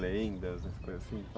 Lendas, essas coisas assim.